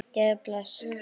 Jæja, bless